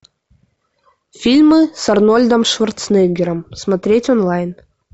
фильмы с арнольдом шварценеггером смотреть онлайн